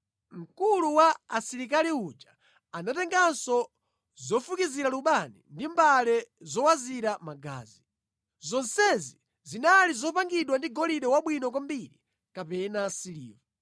Mkulu wa asilikali uja anatenganso zofukizira lubani ndi mbale zowazira magazi. Zonsezi zinali zopangidwa ndi golide wabwino kwambiri kapena siliva.